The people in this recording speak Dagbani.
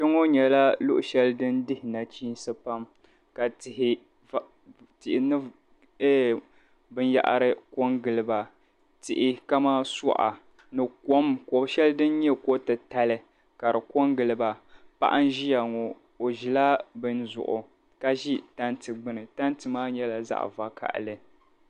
Kpeŋo nyɛla luɣushɛli din dihi nachiinsi pam ka tihi va tihi ni ɛɛ binyɛhiri ko n-gili ba tihi kamani suɣa ni kom ko'shɛli din nye kotitali ka di ko n-gili ba paɣa n-ʒiya ŋo o ʒila bini zuɣu ka ʒi tanti gbuni tanti maa nyɛla zaɣ'vakahili.